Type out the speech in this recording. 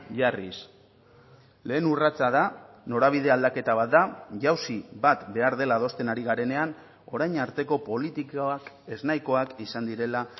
jarriz lehen urratsa da norabide aldaketa bat da jauzi bat behar dela adosten ari garenean orain arteko politikak eznahikoak izan direla